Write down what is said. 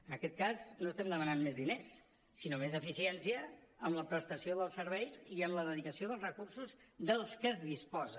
en aquest cas no estem demanant més diners sinó més eficiència en la prestació dels serveis i en la dedicació dels recursos de què es disposa